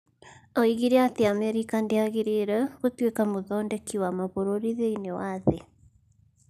Oigire atĩ Amerika ndĩagĩrĩire gũtuĩka "mũthondeki wa mabũrũri" thĩinĩ wa thĩ.